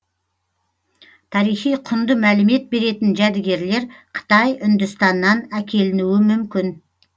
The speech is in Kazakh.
тарихи құнды мәлімет беретін жәдігерлер қытай үндістаннан әкелінуі мүмкін